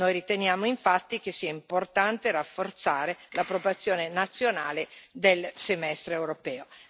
Noi riteniamo infatti che sia importante rafforzare la propria azione nazionale del semestre europeo.